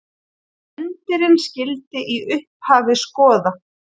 Endirinn skyldi í upphafi skoða.